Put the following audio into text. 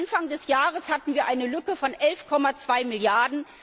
Anfang des Jahres hatten wir eine Lücke von 11,2